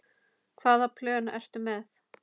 Hvaða plön ertu með?